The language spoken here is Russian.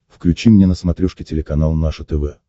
включи мне на смотрешке телеканал наше тв